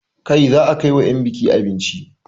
Kai za a kai wa 'yan buki abinci!